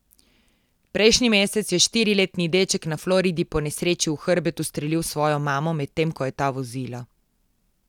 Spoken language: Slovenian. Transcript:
Prejšnji mesec je štiriletni deček na Floridi po nesreči v hrbet ustrelil svojo mamo, medtem ko je ta vozila.